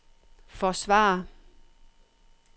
forsvare